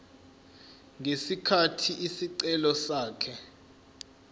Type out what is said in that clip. ngesikhathi isicelo sakhe